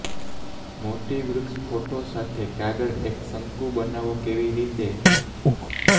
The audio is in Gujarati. મોટી વૃક્ષ ફોટો સાથે કાગળ એક શંકુ બનાવો કેવી રીતે